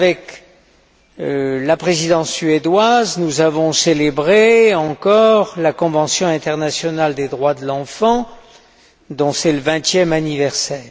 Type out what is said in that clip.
Avec la Présidence suédoise, nous avons célébré encore la convention internationale des droits de l'enfant, dont c'est le vingtième anniversaire.